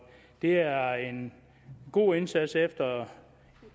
det er en god indsats efter